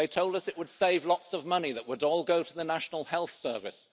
They told us it would save lots of money that would all go to the National Health Service